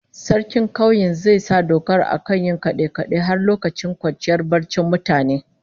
Sarkin kauyen zai sa dokar akan yin kade-kade har lokacin kwanciyar barcin mutane